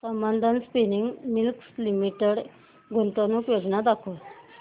Sambandam spinning mills limited गुंतवणूक योजना दाखव